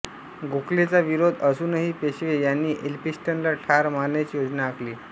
गोखलेंचा विरोध असूनही पेशवे यांनी एल्फिन्स्टनला ठार मारण्याची योजना आखली